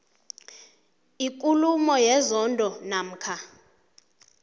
ikulumo yenzondo namkha